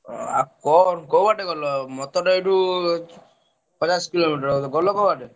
ଓ ଆଉ କଣ କୋଉବାଟେ ଗଲ ମତ ତ ଏଇଠୁ ପଚାଶ କିଲୋମିଟର ହବ ବୋଧେ ଗଲ କୋଉ ବାଟେ?